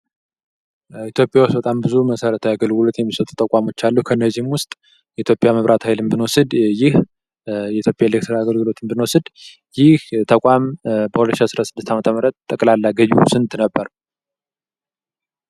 ኢትዮጵያ ውስጥ በጣም ብዙ መሰረታዊ አገልግሎቶች የሚሰጡ አሉ። ከነዚምም ውስጥ የኢትዮጵያን መብራት ሀይልን ብንወስድ ይህ የኢትዮጵያ የኤሌክትሪክ አገልግሎትን ብንወስድ ይህ ተቋም በ2016 ጠቅላላ ገቢው ስንት ነበር?